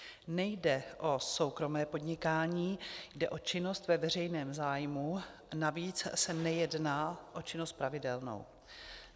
Nejde o soukromé podnikání, jde o činnost ve veřejném zájmu, navíc se nejedná o činnost pravidelnou.